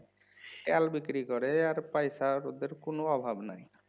তেল বিক্রি করে আর ওদের পয়সার কোনো অভাব নাই